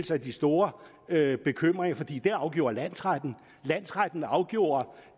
sig de store bekymringer for det afgjorde landsretten landsretten afgjorde